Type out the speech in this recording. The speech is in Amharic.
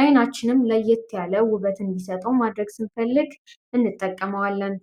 ላይናችንም ለየት ያለ ውበት እንዲሰጠው ማድረግ ስምፈልግ እንጠቀመዋለም፡፡